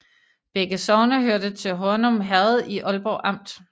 Begge sogne hørte til Hornum Herred i Ålborg Amt